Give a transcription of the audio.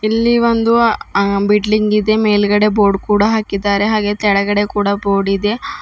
ಇಲ್ಲಿ ಒಂದು ಅ ಬಿಲ್ಡಿಂಗ್ ಇದೆ ಮೇಲ್ಗಡೆ ಬೋರ್ಡ್ ಕೂಡ ಹಾಕಿದ್ದಾರೆ ಹಾಗೆ ಕೆಳಗಡೆ ಕೂಡ ಬೋರ್ಡ್ ಇದೆ.